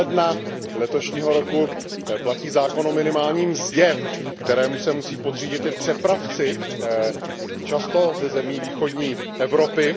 1. ledna letošního roku platí zákon o minimální mzdě, kterému se musí podřídit i přepravci, často ze zemí východní Evropy.